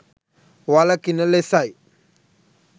වළකින ලෙසයි.